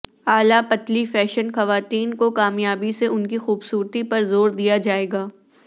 اعلی پتلی فیشن خواتین کو کامیابی سے ان کی خوبصورتی پر زور دیا جائے گا